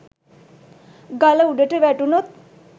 ගල උඩට වැටුනොත්